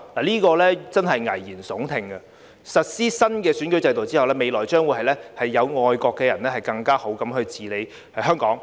這真的是危言聳聽，實施新選舉制度後，未來將會由愛國的人更好地治理香港。